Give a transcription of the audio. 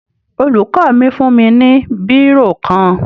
Olùkọ́ mi fún mi ní bírò kan